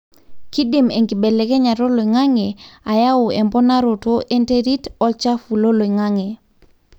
kidim enkibelekenyata oloingange ayau emponaroto enterit olchafu loloingange.